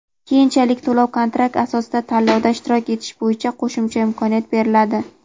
keyinchalik to‘lov-kontrakt asosida tanlovda ishtirok etish bo‘yicha qo‘shimcha imkoniyat beriladi.